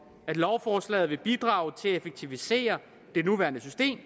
at lovforslaget vil bidrage til at effektivisere det nuværende system